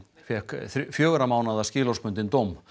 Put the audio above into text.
fékk fjögurra mánaða skilorðsbundinn dóm